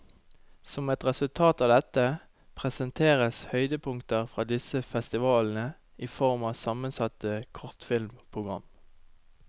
Som et resultat av dette, presenteres høydepunkter fra disse festivalene i form av sammensatte kortfilmprogram.